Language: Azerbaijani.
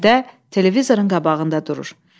Həmidə televizorun qabağında durur.